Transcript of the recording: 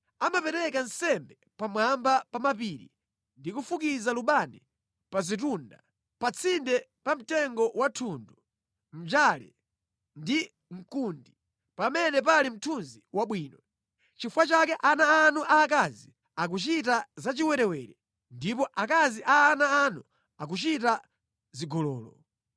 Amapereka nsembe pamwamba pa mapiri ndi kufukiza lubani pa zitunda, pa tsinde pa mtengo wa thundu, mnjale ndi mkundi, pamene pali mthunzi wabwino. Nʼchifukwa chake ana anu aakazi akuchita zachiwerewere ndipo akazi a ana anu akuchita zigololo.